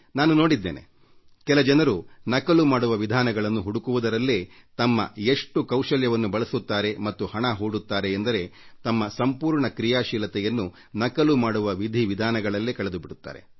ನಾನು ನೋಡಿದ್ದೇನೆ ಕೆಲ ಜನರು ನಕಲು ಮಾಡುವ ವಿಧಾನಗಳನ್ನು ಹುಡುಕುವುದರಲ್ಲೇ ತಮ್ಮ ಬುದ್ಧಿವಂತಿಕೆಯನ್ನು ಬಳಸುತ್ತಾರೆ ಮತ್ತು ಹಣ ಹೂಡುತ್ತಾರೆ ಎಂದರೆ ತಮ್ಮ ಸಂಪೂರ್ಣ ಕ್ರೀಯಾಶೀಲತೆಯನ್ನು ನಕಲು ಮಾಡುವ ವಿಧಿವಿಧಾನಗಳಲ್ಲೇ ಕಳೆದುಬಿಡುತ್ತಾರೆ